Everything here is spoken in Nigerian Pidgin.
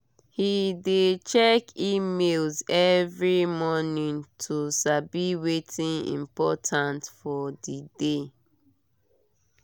he dey check email every morning to sabi wetin important for the day.